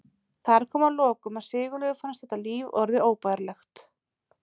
Þar kom að lokum að Sigurlaugu fannst þetta líf orðið óbærilegt.